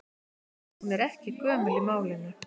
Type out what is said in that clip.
Hún er ekki gömul í málinu.